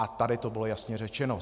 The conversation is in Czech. A tady to bylo jasně řečeno.